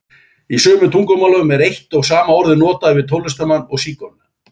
Í sumum tungumálum er eitt og sama orðið notað yfir tónlistarmann og sígauna.